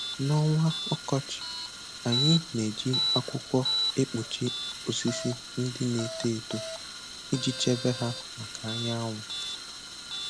N'ọnwa ọkọchị, anyị na-eji akwụkwọ ekpuchi osisi ndị na eto eto iji chebe ha maka anyanwụ.